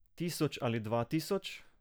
Tisoč ali dva tisoč?